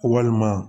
Walima